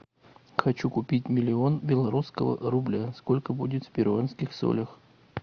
хочу купить миллион белорусского рубля сколько будет в перуанских солях